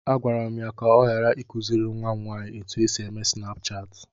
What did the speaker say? Agwara m ya ka ọ ghara ịkụziri nwa m nwanyị otú e si eme snapchaatị.